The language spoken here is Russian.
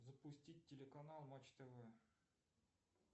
запустить телеканал матч тв